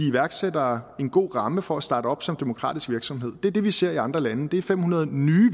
iværksættere en god ramme for at starte op som demokratisk virksomhed det er det vi ser i andre lande det er fem hundrede nye